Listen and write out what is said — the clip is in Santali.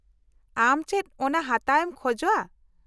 -ᱟᱢ ᱪᱮᱫ ᱚᱱᱟ ᱦᱟᱛᱟᱣ ᱮᱢ ᱠᱷᱚᱡ ᱟ?